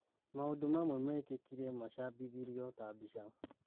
" Maũndũ mamwe mekĩkire macabithĩrio tabica.